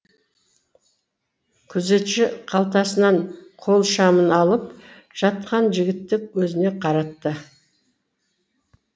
күзетші қалтасынан қол шамын алып жатқан жігітті өзіне қаратты